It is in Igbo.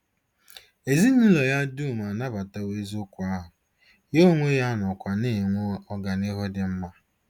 Ezinụlọ ya dum anabatawo eziokwu ahụ, ya onwe ya nọkwa na-enwe ọganihu dị mma.